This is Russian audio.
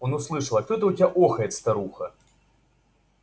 он услышал а кто это у тебя охает старуха